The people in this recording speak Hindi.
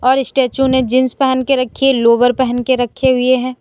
और स्टैचू ने जींस पहन के रखि लोअर पहन के रखे हुए हैं।